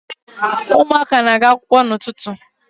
Ụmụaka na-aga akwụkwọ n'ụtụtụ